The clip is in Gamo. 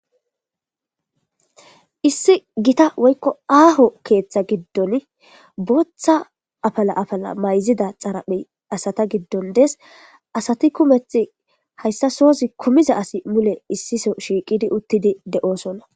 issi gita woykko aaho keeththa giddon booththa apala apala mayzida xaraphey asata giddon des asati kumeth hayssa soza kumiza asi mule issiso shiiqidi uttidi de7oosonna